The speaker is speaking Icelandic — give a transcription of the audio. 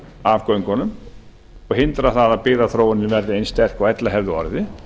af göngunum og hindrar það að byggðaþróunin verði eins sterk og ella hefði orðið